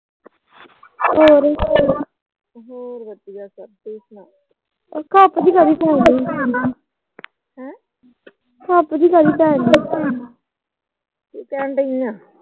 ਕਹਿਣ ਡਈ ਆ।